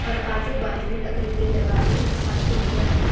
और आजू बाजू लकड़ी की दरवाजे और खिड़कियां हैं।